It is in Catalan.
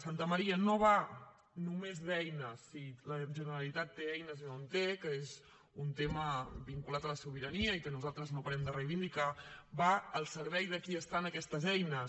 santamaría no va només d’eines si la generalitat té eines o no en té que és un tema vinculat a la sobirania i que nosaltres no parem de reivindicar va al servei de qui estan aquestes eines